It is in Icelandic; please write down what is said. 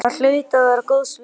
Það hlaut að vera góðs viti.